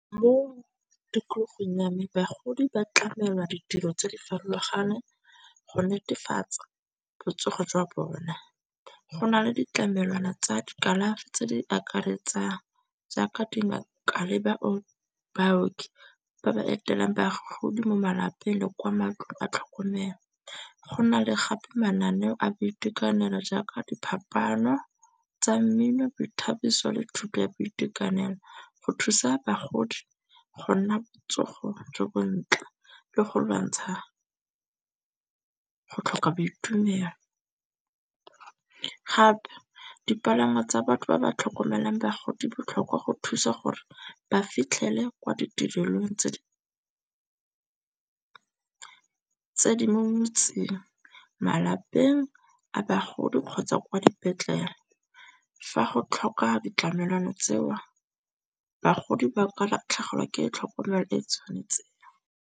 Mo tikologong ya me bagodi ba tlamelwa ditiro tse di farologaneng go netefatsa botsogo jwa bona. Go na le ditlamelwana tsa dikalafi tse di akaretsang jaaka dingaka le baoki ba ba etelang bagodi mo malapeng le kwa mantlong a tlhokomelo. Go na le gape mananeo a boitekanelo jaaka diphapaano tsa mmino, boithabiso le thuto ya boitekanelo. Go thusa bagodi go nna botsogo jo bontle le go lwantsha go tlhoka boitumelo, gape dipalangwa tsa batho ba ba tlhokomelang bagodi botlhokwa go thusa gore ba fitlhele kwa ditirelong tse di mo metseng, malapeng a bagodi kgotsa kwa dipetlele. Fa go tlhoka ditlamelwana tseo bagodi ba ka latlhegelwa ke tlhokomelo e tshwantse.